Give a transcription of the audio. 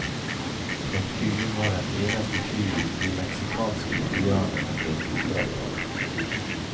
Kalkunen var den eneste fuglen de meksikanske indianerne drev oppdrett på.